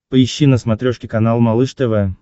поищи на смотрешке канал малыш тв